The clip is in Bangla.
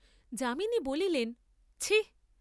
যামিনী বলিলেন ছি!